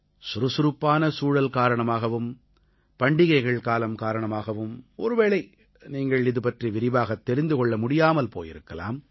சுறுசுறுப்பான சூழல் காரணமாகவும் பண்டிகைகள் காலம் காரணமாகவும் ஒருவேளை நீங்கள் இதுபற்றி விரிவாகத் தெரிந்து கொள்ள முடியாமல் போயிருக்கலாம்